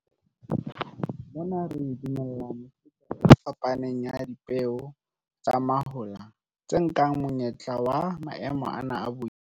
Mona re dumella mefuta e fapaneng ya dipeo tsa mahola tse nkang monyetla wa maemo ana a boima.